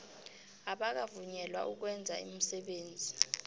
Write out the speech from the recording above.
abakavunyelwa ukwenza umsebenzi